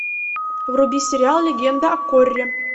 вруби сериал легенда о корре